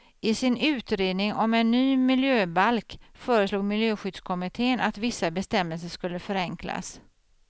I sin utredning om en ny miljöbalk föreslog miljöskyddskommittén att vissa bestämmelser skulle förenklas.